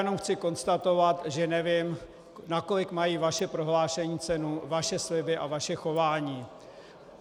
Jenom chci konstatovat, že nevím, nakolik mají vaše prohlášení cenu, vaše sliby a vaše chování.